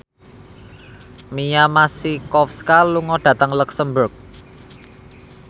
Mia Masikowska lunga dhateng luxemburg